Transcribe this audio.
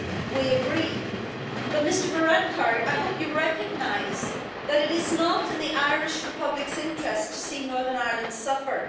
We agree, but, Mr Varadkar, I hope you recognise that it is not in the Irish Republic's interest to see Northern Ireland suffer.